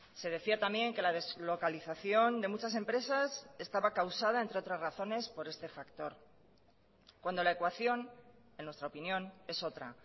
se decía también que la deslocalización de muchas empresas estaba causada entre otras razones por este factor cuando la ecuación en nuestra opinión es otra